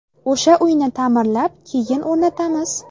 O‘sha uyni ta’mirlab, keyin o‘rnatamiz.